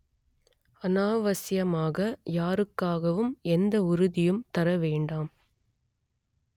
அநாவசியமாக யாருக்காகவும் எந்த உறுதியும் தர வேண்டாம்